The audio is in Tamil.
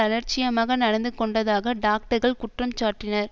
அலட்சியமாக நடந்து கொண்டதாக டாக்டர்கள் குற்றம் சாட்டினர்